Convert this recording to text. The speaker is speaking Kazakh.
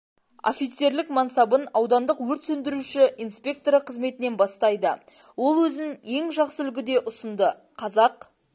офицерлік мансабын аудандық өрт сөндіруші инспекторы қызметінен бастайды ол өзін ең жақсы үлгіде ұсынды қазақ